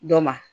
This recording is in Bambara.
Dɔ ma